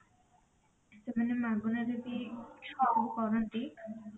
ସେମାନେ ମାଗଣାରେ ବି ସବୁ କରନ୍ତି